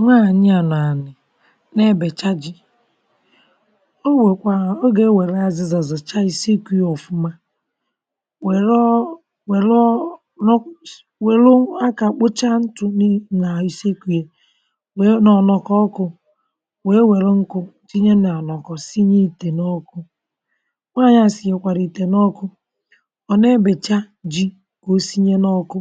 nwaànyị ànọ anị̀ n’ebècha ji, o nwèkwàà ha ogè e wère azịzà zọ̀cha ìsikù yà. ọ̀fụmà wère, ọ wère, ọ nọ̀sù wère, akà kpọchà ntụ̀ n’ì nà ìsikù yà, wèe nà ọ̀ nọkọ̀ ọkụ̇, wèe nwèrè nkụ̀ tinye nà ànọ̀kọ̀, sinye ìtè n’ọkụ. nwaànyị̀ àsị, yèkwàrị̀ ìtè n’ọkụ. ọ̀ nà ebèchà ji, ọ̀ sinye n’ọkụ,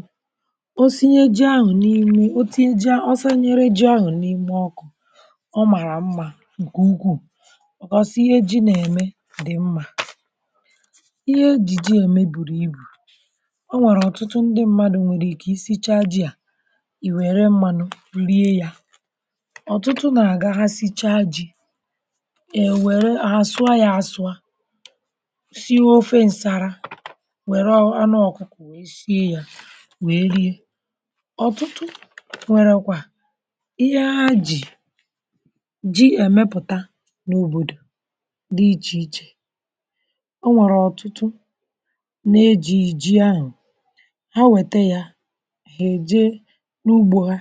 ọ màrà mmȧ ǹkè ugwu̇. ọ kọsịa ihe ji̇ nà-ème, dị̀ mmȧ. ihe ji̇ ji̇ ème bùrù ibù um. o nwèrè ọ̀tụtụ ndị mmadụ̀ nwèrè ike isi chàà ji̇. à ì wère mmȧnụ̇ lie yà, ọ̀tụtụ nà-àga ha sichaa ji̇, è wère àsụa yà. àsụa sirofe ǹsàrà, wèrè anụ ọ̀kụ̀kụ̀ sie yà, wèe rie ji. èmepụ̀ta n’òbòdò dị ichè ichè, o nwèrè ọ̀tụtụ nà ejìjì ahụ̀ ha wète yà. ha èje n’ugbȯ, ha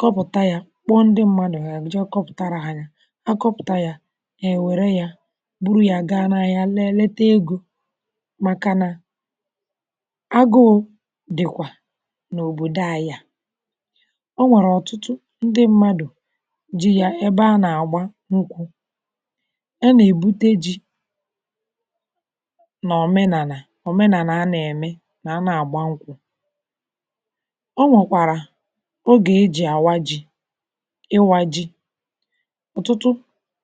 kọpụ̀ta yà, kpọọ ndị mmȧnụ̇, ya bụ̀ je kọpụ̀tara ha yà. ha kọpụ̀ta yà, ya èwère yà gburu yà, gaa n’ahịa, lėelėte egȯ. màkà nà agụụ dị̀kwà n’òbòdò, ayà ji̇ yà. ebe a nà-àgba n’ụkwụ̇, a nà-èbute ji nà òmenànà. òmenànà a nà-ème nà, a na-àgba nkwụ̇ um. o nwèkwàrà ogè e jì àwa ji̇, ịwȧ ji̇. ọ̀tụtụ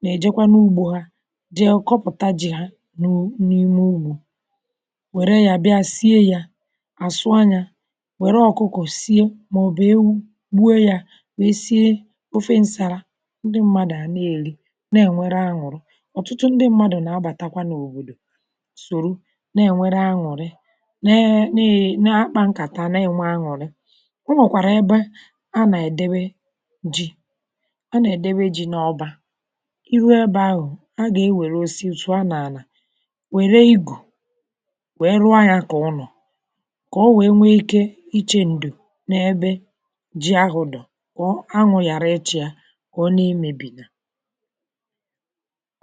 nà-èjekwa n’ugbȯ ha, jee kọpụ̀ta ji̇. ha n’ime ugbȯ, wère yà bịa, sie yà. àsụanya wère ọkụkụ̀ sie, màọ̀bụ̀ ewu. ndị mmadụ̀ à na-eli nà-ènwere aṅụ̀rụ. ọ̀tụtụ ndị mmadụ̀ nà-abàtakwa n’òbòdò sòru, nà-ènwere aṅụ̀rị, neè, nà-akpà nkà, tà nà-ènwe aṅụ̀rị. o nwèkwàrà ebe a nà-èdebe ji. a nà-èdebe ji n’ọbȧ iru. ebe ahụ̀ a gà-ewère osi, otu a nà-ànà wère igù, wère ahịȧkọ̀ ụnọ̀, kà o wèe nwee ike ichė ǹdù, na-ebe kà ọ na-emebìga.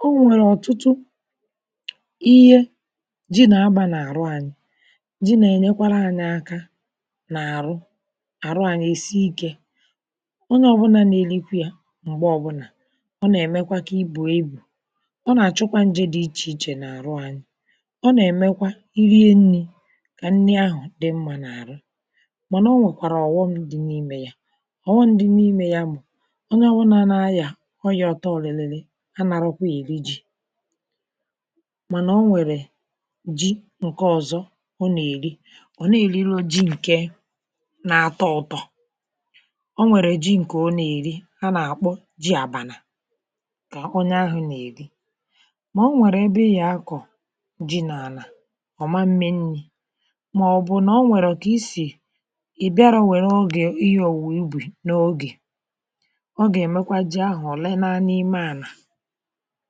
o nwèrè ọ̀tụtụ ihe ji nà-agbȧ n’àrụ. anyị jì nà-ènyekwara anyị aka n’àrụ àrụ. anyị èsi ikė ọ nà ọ̀bụnȧ na-elikwė yà, m̀gbè ọ̀bụnà ọ nà-èmekwa kà ibù ibù. ọ nà-àchụkwa njị̇ dị̇ ichè ichè n’àrụ anyị. ọ nà-èmekwa iri e nnì, kà nnị ahụ̀ dị mmȧ n’àrụ um. mànà o nwèkwàrà ọ̀ghọm dị n’imė yà. onye ọbụnà n’ayà, onye ọtọ ọ̀lị̀lị̀lị̀ anàrọkwa èri ji. mànà o nwèrè ji ǹke ọ̀zọ ọ nà-èri. ọ̀ na-èriri o ji ǹke, na àtọ ụ̀tọ. o nwèrè ji ǹkè ọ nà-èri. ha nà-àkpụ ji àbanà, kà onye ahụ̇ nà-èri. mà o nwèrè ebe ị yà akọ̀ ji nà àlà ọ̀, ma nme nni̇, mà ọ̀ bụ̀ nà o nwèrè ọ̀kà isì ị̀ bịara. o nwèrè ogè ihe ọ̀wụ̀ wee bù, n’oge ọ gà-èmekwa ji ahụ̀. ọ̀ lee naa n’ime ànà um.